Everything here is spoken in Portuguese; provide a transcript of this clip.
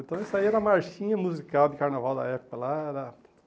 Então isso aí era a marchinha musical de carnaval da época lá da.